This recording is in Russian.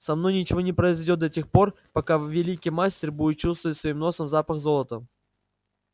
со мной ничего не произойдёт да тех пор пока великий мастер будет чувствовать своим носом запах золота